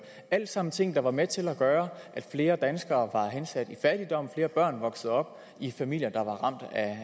alt sammen ting der var med til at gøre at flere danskere var hensat i fattigdom at flere børn voksede op i familier der var ramt af